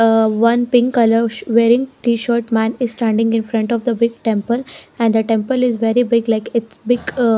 a one pink colour ssh wearing t-shirt man is standing in front of the big temple and the temple is very big like it's big a --